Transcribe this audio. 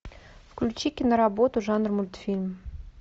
включи киноработу жанр мультфильм